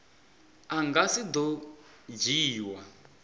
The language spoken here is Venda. a nga si do dzhiiwa